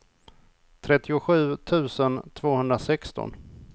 trettiosju tusen tvåhundrasexton